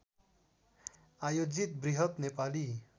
आयोजित बृहत नेपाली